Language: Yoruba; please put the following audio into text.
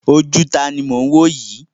Ojú taàní mo ń woyi?